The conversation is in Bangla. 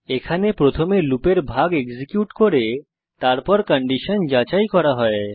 এখানে প্রথমে লুপের ভাগ এক্সিকিউট করে তারপর কন্ডিশন যাচাই করা হয়